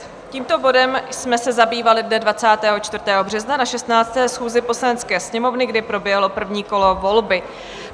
Tímto bodem jsme se zabývali dne 24. března na 16. schůzi Poslanecké sněmovny, kdy proběhlo první kolo volby.